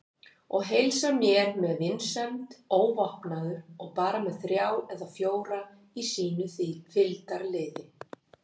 Og heilsar mér með vinsemd, óvopnaður og bara með þrjá eða fjóra í sínu fylgdarliði.